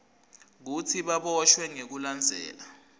kutsi baboshwe ngekulandzela